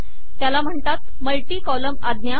त्याला म्हणतात multi column आज्ञा